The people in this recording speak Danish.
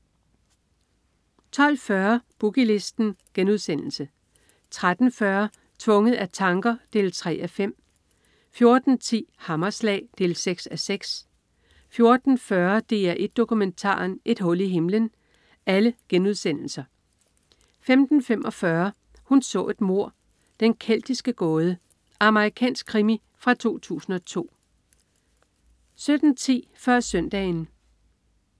12.40 Boogie Listen* 13.40 Tvunget af tanker 3:5* 14.10 Hammerslag 6:6* 14.40 DR1 Dokumentaren. Et hul i himlen* 15.45 Hun så et mord: Den keltiske gåde. Amerikansk krimi fra 2002 17.10 Før Søndagen